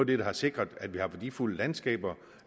det der har sikret at vi har værdifulde landskaber